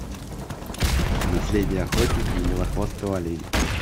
наследие охотника на белохвостого оленя